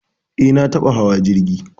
Eh, na taɓa hawa jirgi